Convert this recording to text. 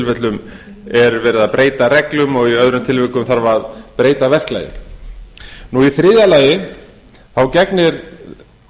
er verið að breyta reglum og í öðrum tilvikum þarf að breyta verklagi í þriðja lagi gegnir